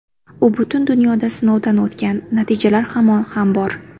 U butun dunyoda sinovdan o‘tgan, natijalar ham bor.